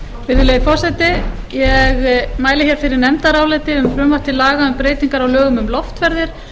virðulegi forseti ég mæli hér fyrir nefndaráliti um frumvarp til laga um breytingar á lögum um loftferðir